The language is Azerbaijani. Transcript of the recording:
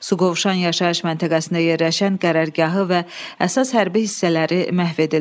Suqovuşan yaşayış məntəqəsində yerləşən qərargahı və əsas hərbi hissələri məhv edildi.